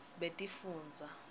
betifundza